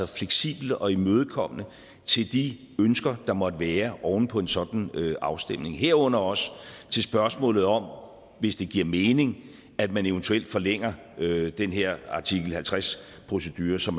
fleksible og imødekommende til de ønsker der måtte være oven på en sådan afstemning herunder også til spørgsmålet om hvis det giver mening at man eventuelt forlænger den her artikel halvtreds procedure så